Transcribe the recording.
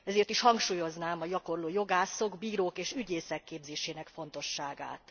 Ezért is hangsúlyoznám a gyakorló jogászok, bírók és ügyészek képzésének fontosságát.